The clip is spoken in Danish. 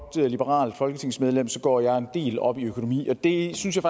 liberalt folketingsmedlem går jeg en del op i økonomi og det synes jeg